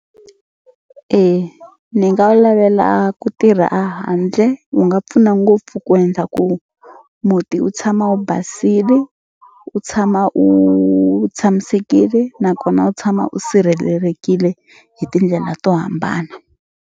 E ni nga wu lavela ku tirha a handle wu nga pfuna ngopfu ku endla ku muti wu tshama wu basili u tshama u tshamisekile nakona u tshama u sirhelelekile hi tindlela to hambana.